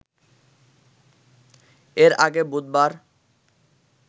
এর আগে বুধবার